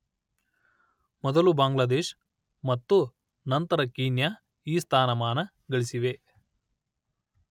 ಮೊದಲು ಬಾಂಗ್ಲಾದೇಶ್ ಮತ್ತು ನಂತರ ಕೀನ್ಯಾ ಈ ಸ್ಥಾನಮಾನ ಗಳಿಸಿವೆ